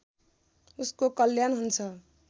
उसको कल्याण हुन्छ